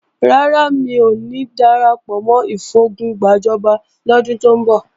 Rárá, mi ò ní darapọ̀ mọ́ ìfogun gbàjọba lọ́dún tó ń bọ̀